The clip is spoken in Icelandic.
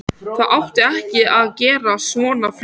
Það átti ekki að gerast svona fljótt.